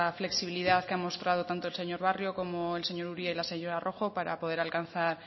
flexibilidad que ha mostrado tanto el señor barrio como el señor uria y la señora rojo para poder llegar